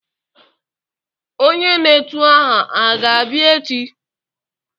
Onyé n'etù aha a ga-abia echi?